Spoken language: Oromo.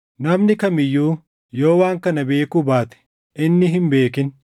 Namni kam iyyuu yoo waan kana beekuu baate, inni hin beekin.